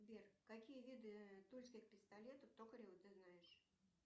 сбер какие виды тульских пистолетов токарева ты знаешь